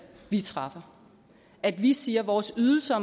vi træffer at vi siger at vores ydelser